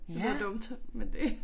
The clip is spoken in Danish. Det lyder dumt men det